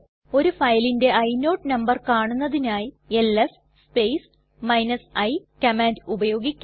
ഒരു ഫയലിന്റെ ഇനോട് നമ്പർ കാണുന്നതിനായി എൽഎസ് സ്പേസ് i കമാൻഡ് ഉപയോഗിക്കാം